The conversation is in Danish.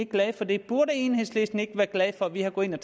glad for det burde enhedslisten ikke være glad for at vi er gået ind og